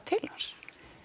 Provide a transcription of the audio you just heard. til hans